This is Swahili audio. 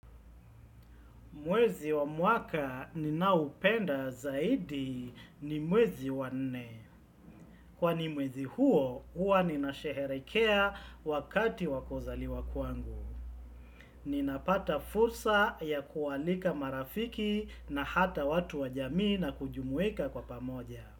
Mwezi wa mwaka ninaoupenda zaidi ni mwezi wa nne. Kwani mwezi huo, hua nina sherehekea wakati wa kuzaliwa kwangu. Ninapata fursa ya kualika marafiki na hata watu wa jamii na kujumuika kwa pamoja.